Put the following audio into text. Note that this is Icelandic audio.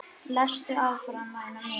Lestu áfram væna mín!